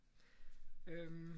Øh